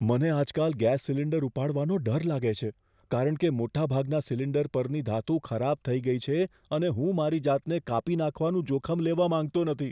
મને આજકાલ gas cylinder ઉપાડવાનો ડર લાગે છે કારણ કે મોટાભાગના સિલિન્ડર પરની ધાતુ ખરાબ થઈ ગઈ છે અને હું મારી જાતને કાપી નાખવાનું જોખમ લેવા માંગતો નથી.